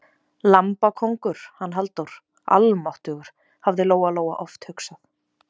Lambakóngur, hann Halldór, almáttugur, hafði Lóa-Lóa oft hugsað.